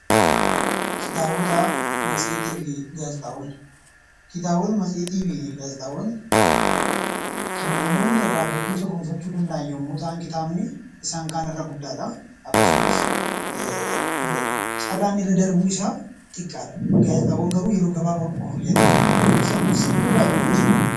Kitaabota, matseetii fi gaazexaawwan Kitaabota, matseetii fi gaazexaawwan kan namoonni irraa beekumsa gonfachuu danda'an yommuu ta'an, kitaabni isaan kaan irra guddaa dha. Akkasumas, carraan irra darbuu isaa xiqqaa dha. Gaazexaawwan garuu yeroo gabaabaa qofa fayyadu. Garuu isaan kun sadanuu baay'ee barbaachisoo dha.